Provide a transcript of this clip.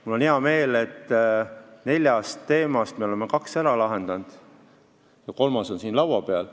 Mul on hea meel, et neljast teemast me oleme kaks ära lahendanud ja kolmas on nüüd siin laua peal.